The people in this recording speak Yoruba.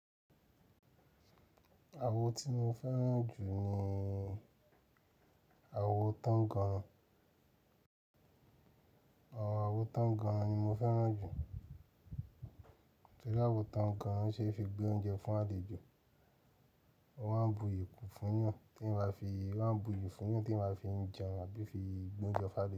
Awo tí mo fẹ́ràn jù ni awo tánganran. Awọn awo tánganran ni mo fẹ́ràn jù. Ṣé awo tánganran o ṣe é fi gbé oúnjẹ fún àlejò? Wọn a bu ìyè kú fún wọn tí wọn kò fi jẹun àbí fi gbé oúnjẹ fún abaj.